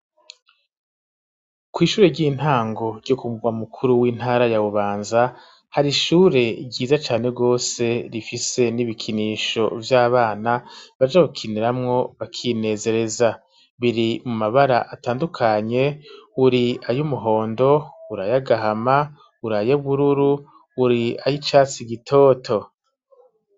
ku ishure ry'intango ryo ku mugwa mukuru w'intara ya bubanza , hari ishure ryiza cane rwose , rifise n'ibikinisho vy'abana baja gukiniramwo bakinezereza .Biri mu mabara atandukanye uri ay 'umuhondo ur'ayagahama uri ay'ubururu uri ay'icatsi gitoto.